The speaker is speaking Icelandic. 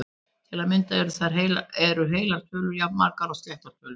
Til að mynda eru heilar tölur jafnmargar og sléttar tölur!